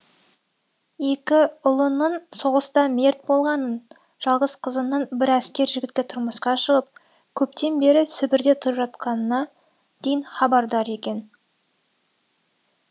екі ұлының соғыста мерт болғанын жалғыз қызының бір әскер жігітке тұрмысқа шығып көптен бері сібірде тұрып жатқанына дейін хабардар екен